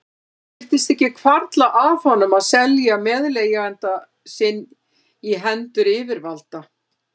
Það virtist ekki hvarfla að honum að selja meðleigjanda sinn í hendur yfirvalda.